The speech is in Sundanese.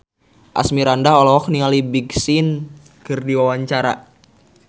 Asmirandah olohok ningali Big Sean keur diwawancara